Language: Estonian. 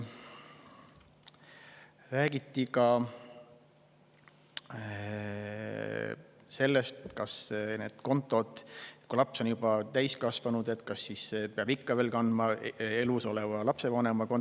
Räägiti ka sellest, et kas siis, kui laps on juba täiskasvanud, peab ikka veel kandma elus oleva lapsevanema kontole.